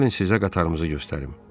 Gəlin sizə qatarımızı göstərim.